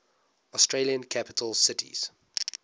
australian capital cities